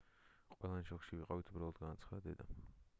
ყველანი შოკში ვიყავით უბრალოდ - განაცხადა დედამ